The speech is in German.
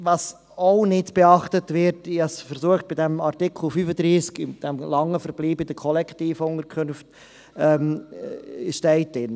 Was auch nicht beachtet wird, ich versuchte dies bei Artikel 35 betreffend jenen, die lange in den Kollektivunterkünften verbleiben …